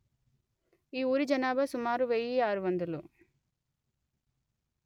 ఈ ఊరి జనాభా సుమారు వెయ్యి ఆరు వందలు